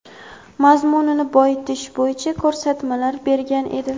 mazmunini boyitish bo‘yicha ko‘rsatmalar bergan edi.